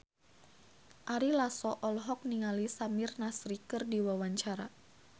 Ari Lasso olohok ningali Samir Nasri keur diwawancara